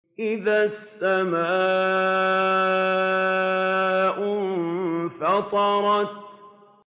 إِذَا السَّمَاءُ انفَطَرَتْ